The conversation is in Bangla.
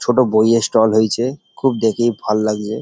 ছোটো বইয়ের ষ্টল হয়েছে খুব দেখি ভাল লাগে ।